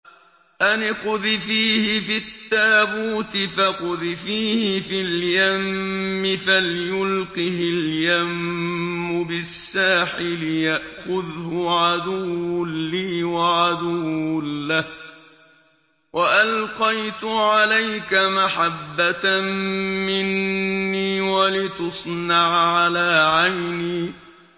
أَنِ اقْذِفِيهِ فِي التَّابُوتِ فَاقْذِفِيهِ فِي الْيَمِّ فَلْيُلْقِهِ الْيَمُّ بِالسَّاحِلِ يَأْخُذْهُ عَدُوٌّ لِّي وَعَدُوٌّ لَّهُ ۚ وَأَلْقَيْتُ عَلَيْكَ مَحَبَّةً مِّنِّي وَلِتُصْنَعَ عَلَىٰ عَيْنِي